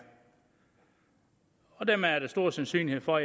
dermed er der stor sandsynlighed for at